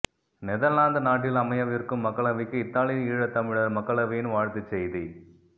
Netherlands நாட்டில் அமையவிருக்கும் மக்களவைக்கு இத்தாலி ஈழத்தமிழர் மக்களவையின் வாழ்த்துச் செய்தி